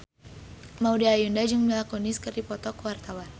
Maudy Ayunda jeung Mila Kunis keur dipoto ku wartawan